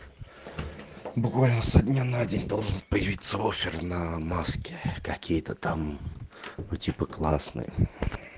буквально со дня на день должен появиться офер на маски какие-то там ну типа классные